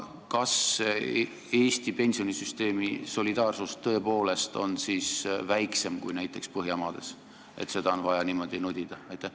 Kas Eesti pensionisüsteemi solidaarsus tõepoolest on siis väiksem kui näiteks Põhjamaades, et seda on vaja niimoodi nudida?